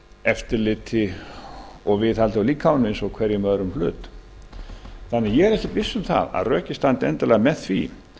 eftirliti og viðhaldi á líkamanum eins og hverjum öðrum hlut ég er því ekki viss um að rökin standi endilega með því